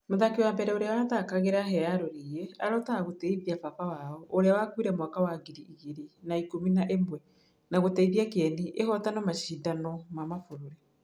Mũthaki wa mbere ũrĩa athakagĩra Hĩa ya Rũriĩ arotaga gũtĩithia baba wao ũrĩa wakuire mwaka wa ngiri igĩri na ikũmi na ĩmwe na gũteithia kĩeni ĩhotane mashindano ma mabũrũri.